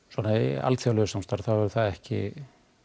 svona í alþjóðlegu samstarfi hefur það ekki